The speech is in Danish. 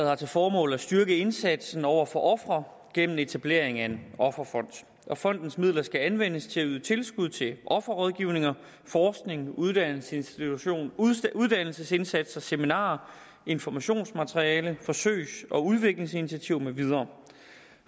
har til formål at styrke indsatsen over for ofre gennem etablering af en offerfond fondens midler skal anvendes til at yde tilskud til offerrådgivning forskning uddannelsesindsatser uddannelsesindsatser seminarier informationsmateriale forsøgs og udviklingsinitiativer med videre